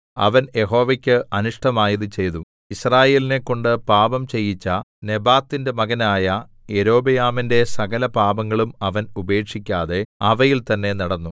അവൻ യഹോവയ്ക്ക് അനിഷ്ടമായത് ചെയ്തു യിസ്രായേലിനെക്കൊണ്ട് പാപം ചെയ്യിച്ച നെബാത്തിന്റെ മകനായ യൊരോബയാമിന്റെ സകലപാപങ്ങളും അവൻ ഉപേക്ഷിക്കാതെ അവയിൽ തന്നേ നടന്നു